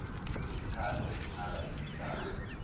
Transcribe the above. izikhalo ezingaba yizizathu